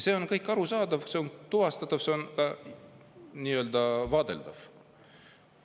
See on kõik arusaadav, see on tuvastatav, see on nii-öelda vaadeldav.